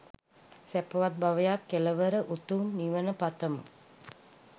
සැපවත් භවයක් කෙළවර උතුම් නිවන පතමු